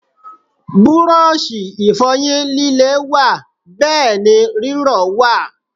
Búrọ̀ṣì Ìfọ̀yín líle wà bẹ́ẹ̀ ni rírọ̀ wà